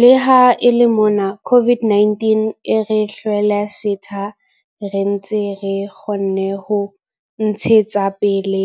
Le ha e le mona COVID-19 e re hlwele setha, re ntse re kgonne ho ntshetsa pele